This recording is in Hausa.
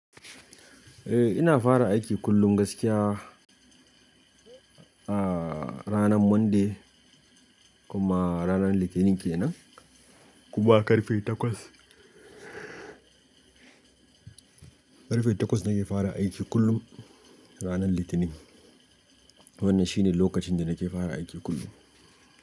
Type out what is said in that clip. Eh ina fara aiki kullum gaskiya a ranar Monday kuma ranar Litinin ke nan. Kuma karfe takwas, karfe takwas nake fara aiki kullum ranar Litinin. Wannan shine lokacin da nake fara aiki kullum.